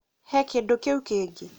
he kĩndũ kĩũ kĩngĩ